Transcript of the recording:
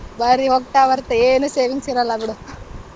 ದಾರಿಲ್ ಹೋಗ್ತಾ ಬರ್ತಾ ಏನು savings ಇರಲ್ಲ ಬಿಡು.